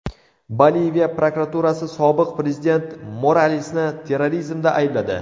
Boliviya prokuraturasi sobiq prezident Moralesni terrorizmda aybladi.